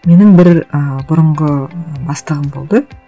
менің бір і бұрынғы бастығым болды